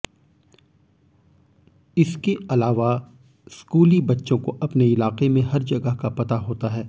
इसके अलावा स्कूली बच्चों को अपने इलाके में हर जगह का पता होता है